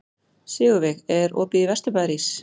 Sigurveig, er opið í Vesturbæjarís?